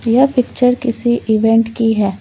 यह पिक्चर किसी इवेंट की है।